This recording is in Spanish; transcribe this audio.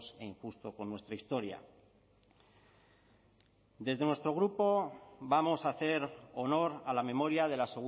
e injusto con nuestra historia desde nuestro grupo vamos a hacer honor a la memoria de la